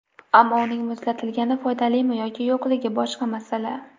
Ammo uning muzlatilgani foydalimi yoki yo‘qligi boshqa masala.